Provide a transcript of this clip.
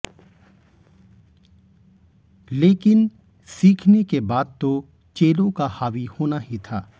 लेकिन सीखने के बाद तो चेलों का हावी होना ही था